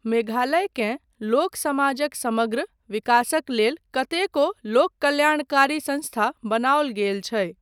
मेघालयकेँ, लोक समाजक समग्र विकासक लेल कतेको लोककल्याणकारी संस्था बनाओल गेल छै।